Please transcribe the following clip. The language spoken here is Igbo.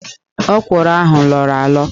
Ókwụ̀rụ̀ ahụ lọọrọ alọ